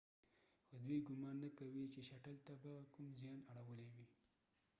خو دوۍ ګمان نه کیږي چې شټل ته به کوم زیان اړولی وي